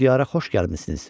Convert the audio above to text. Siz bu diyara xoş gəlmisiniz.